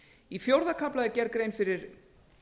í fjórða kafla er gerð grein fyrir